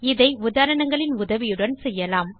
இதை உதாரணங்களின் உதவியுடன் செய்யலாம்